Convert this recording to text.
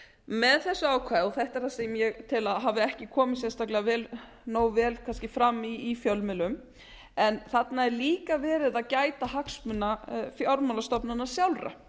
með þessu ákvæði og þetta er það sem ég tel að hafi ekki komið sérstaklega nógu vel fram í fjölmiðlum en þarna er líka verið að gæta hagsmuna fjármálastofnananna sjálfra